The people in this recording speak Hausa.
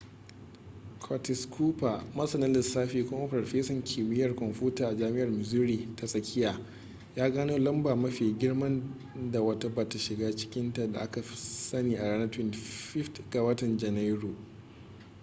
curtis cooper masanin lissafi kuma farfesan kimiyyar kwamfuta a jami'ar missouri ta tsakiya ya gano lamba mafi girman da wata bata shiga cikinta da aka sani a ranar 25 ga watan janairu